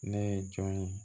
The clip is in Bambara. Ne ye jɔn ye